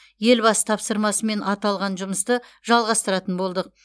елбасы тапсырмасымен аталған жұмысты жалғастыратын болдық